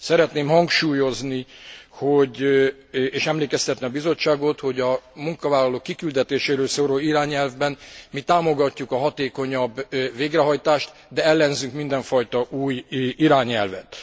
Szeretném hangsúlyozni és emlékeztetni a Bizottságot, hogy a munkavállalók kiküldetéséről szóló irányelvben mi támogatjuk a hatékonyabb végrehajtást, de ellenzünk mindenfajta új irányelvet.